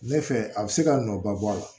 Ne fɛ a bɛ se ka nɔ ba bɔ a la